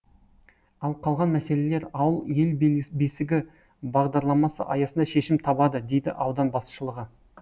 ал қалған мәселелер ауыл ел бесігі бағдарламасы аясында шешімін табады дейді аудан басшылығы